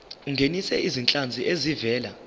ungenise izinhlanzi ezivela